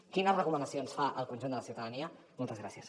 quines recomanacions fa al conjunt de la ciutadania moltes gràcies